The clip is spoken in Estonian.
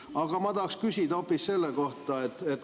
Aga ma tahan küsida hoopis selle kohta.